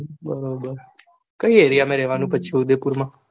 બરોબર કય area માં રેવાનું પછી ઉદયપુર માં.